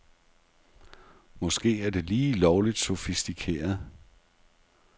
Måske er det lige lovligt sofistikeret.